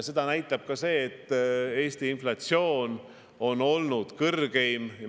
Seda näitab ka see, et Eesti inflatsioon on olnud suurim.